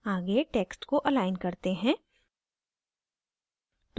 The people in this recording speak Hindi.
आगे texts को अलाइन करते हैं